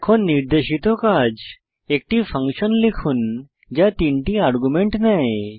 এখন নির্দেশিত কাজ একটি ফাংশন লিখুন যা 3 টি আর্গুমেন্ট নেয়